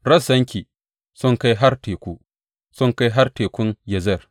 Rassanki sun kai har teku; sun kai har tekun Yazer.